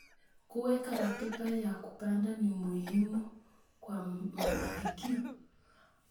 Kuweka ratiba ya kupanda ni muhimu kwa mafanikio.